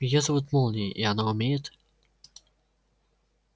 её зовут молнией и она умеет